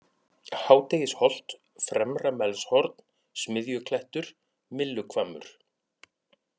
Hádegisholt, Fremra-Melshorn, Smiðjuklettur, Mylluhvammur